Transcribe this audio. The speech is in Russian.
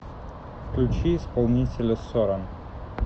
включи исполнителя соран